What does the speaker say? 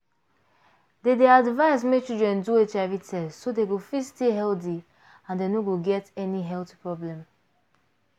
dem dey advise make children do hiv test so dem go fit stay healthy and so dem no go get any health problem